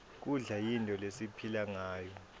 kudla yinto lesiphilangayo